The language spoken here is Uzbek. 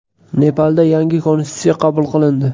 Nepalda yangi konstitutsiya qabul qilindi.